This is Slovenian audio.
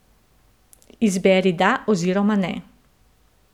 Izberi da oziroma ne.